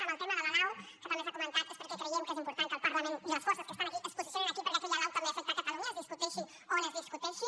en el tema de la lau que també s’ha comentat és perquè creiem que és important que el parlament i les forces que estan aquí es posicionin aquí perquè aquella lau també afecta catalunya es discuteixi on discuteixi